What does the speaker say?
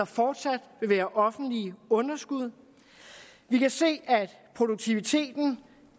fortsat vil være offentlige underskud vi kan se at produktiviteten